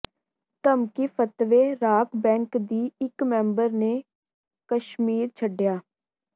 ਧਮਕੀ ਫਤਵੇ rock band ਦੀ ਇਕ ਮੈਂਬਰ ਨੇ ਕਸ਼ਮੀਰ ਛੱਡਿਆ